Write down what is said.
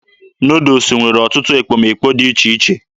Nuudus nwere ọtụtụ ekpomekpo dị iche iche.